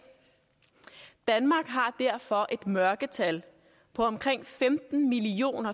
danmark har derfor et mørketal på omkring femten million